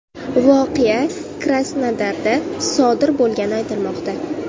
Voqea Krasnodarda sodir bo‘lgani aytilmoqda.